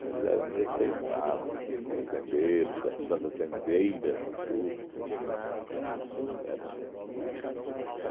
Eles eram respeitados, os fazendeiros, as fazendeiras, tudo, entende? Eram